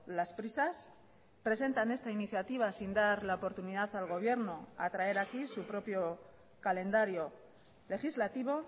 las prisas presentan esta iniciativa sin dar la oportunidad al gobierno a traer aquí su propio calendario legislativo